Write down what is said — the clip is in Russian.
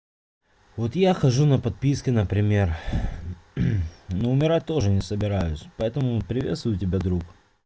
вот я хожу на подписки например но умирать тоже не собираюсь поэтому приветствую тебя друг